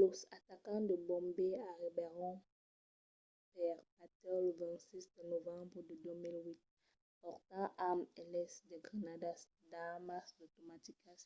los atacants de bombai arribèron per batèu lo 26 de novembre de 2008 portant amb eles de granadas d'armas automaticas